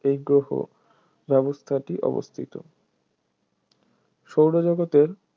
এই গ্রহ ব্যবস্থাটি অবস্থিত সৌরজগতে